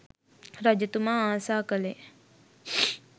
රජතුමා ආසා කළේ